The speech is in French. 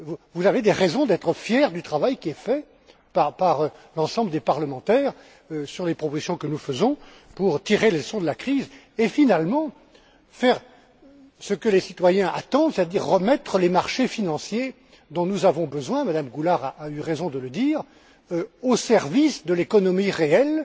Vous avez des raisons d'être fière du travail qui est fait par l'ensemble des parlementaires sur les propositions que nous faisons pour tirer les leçons de la crise et, finalement, faire ce que les citoyens attendent, c'est à dire remettre les marchés financiers, dont nous avons besoin Mme Goulard a eu raison de le dire au service de l'économie réelle